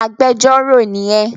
Agbẹjọ́rò ni ẹ!